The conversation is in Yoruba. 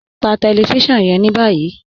Pà tẹlifisiọnu yẹn ni báyì.